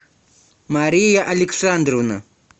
мария александровна